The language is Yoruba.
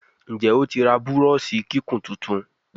Nje otí rà Búrọ́ọ̀ṣì kíkún títún?